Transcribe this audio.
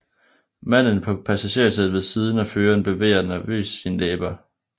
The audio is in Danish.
Manden på passagersædet ved siden af føreren bevæger nervøst sine læber